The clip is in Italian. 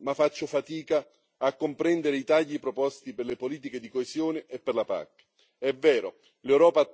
ma faccio fatica a comprendere i tagli proposti per le politiche di coesione e per la PAC.